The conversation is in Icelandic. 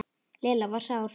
Lilla var sár.